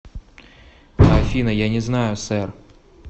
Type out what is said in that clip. афина я не знаю сэр